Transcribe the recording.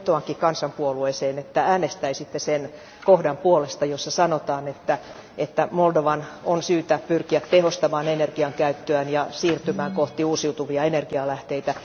Vetoankin kansanpuolueeseen, että äänestäisitte sen kohdan puolesta, jossa sanotaan, että Moldovan on syytä pyrkiä tehostamaan energiankäyttöään ja siirtymään kohti uusiutuvia energialähteitä.